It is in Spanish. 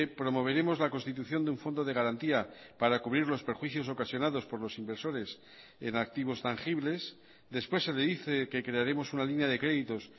promoveremos la constitución de un fondo de garantía para cubrir los perjuicios ocasionados por los inversores en activos tangibles después se le dice que crearemos una línea de créditos